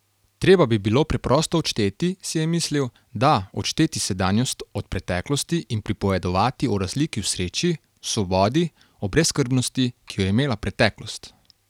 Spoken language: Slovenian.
Treba bi bilo preprosto odšteti, si je mislil, da, odšteti sedanjost od preteklosti in pripovedovati o razliki v sreči, v svobodi, o brezskrbnosti, ki jo je imela preteklost.